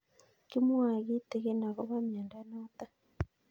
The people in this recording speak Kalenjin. Kimwae kitig'in akopo miondo notok